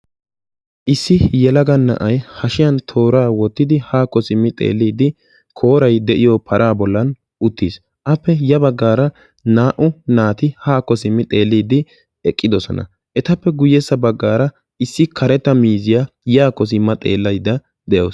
Issi yelaga na'ay hashiyan tooraa wottidi haakko simmi xeelliiddi kooray de'iyo paraa bollan uttis. Appe ya baggaara naa"u naati haakko simmi xeelliiddi eqqidosona. Etappe guyessa baggaara issi karetta miizziya yaakko simma xellaydda de'awusu.